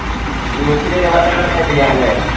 group ൽ ഇരുപതാള add ചെയാലെ